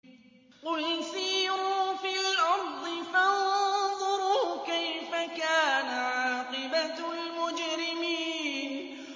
قُلْ سِيرُوا فِي الْأَرْضِ فَانظُرُوا كَيْفَ كَانَ عَاقِبَةُ الْمُجْرِمِينَ